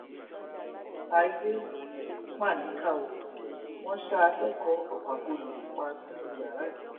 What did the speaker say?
ayé mà níkà ó wọn ṣa akẹkọọ ọfà poli pa sínú yàrá ẹ